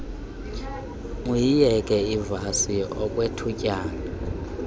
uyiyeke ivasi okwethutyana